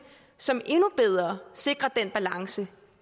som endnu bedre sikrer den balance